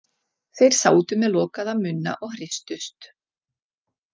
Þeir sátu með lokaða munna og hristust.